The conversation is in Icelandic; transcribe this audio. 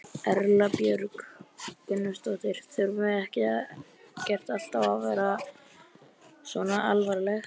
Erla Björg Gunnarsdóttir: Þurfum ekkert alltaf að vera svona alvarleg?